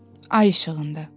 Ay işığında.